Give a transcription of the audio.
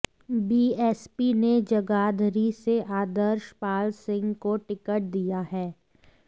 BSP ने जगाधरी से आदर्श पाल सिंह को टिकट दिया है